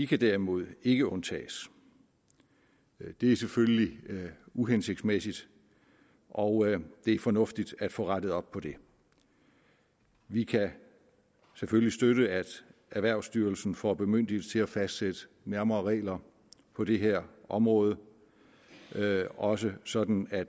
kan derimod ikke undtages det er selvfølgelig uhensigtsmæssigt og det er fornuftigt at få rettet op på det vi kan selvfølgelig støtte at erhvervsstyrelsen får bemyndigelse til at fastsætte nærmere regler på det her område også sådan at